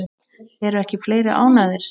Eru ekki fleiri ánægðir?